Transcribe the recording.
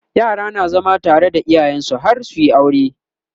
yara na zama tare da iyayensu har suyi aure